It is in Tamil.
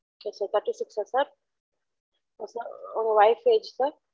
Its okay thirty six அ sir அப்பரம் உங்க wife age sir